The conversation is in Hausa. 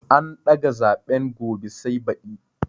An daga zaɓen gobe sai baɗi